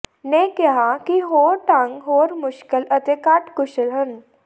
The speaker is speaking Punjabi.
ਨੇ ਕਿਹਾ ਕਿ ਹੋਰ ਢੰਗ ਹੋਰ ਮੁਸ਼ਕਲ ਅਤੇ ਘੱਟ ਕੁਸ਼ਲ ਹਨ